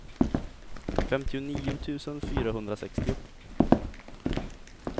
femtionio tusen fyrahundrasextio